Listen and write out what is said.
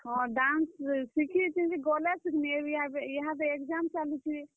ହଁ, dance ଶିଖିଛେଁ ଯେ, ଗଲେ ଶିଖ୍ ମି ଇହାଦେ exam ଚାଲୁଛେ।